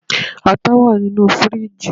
ata wa ninu firiji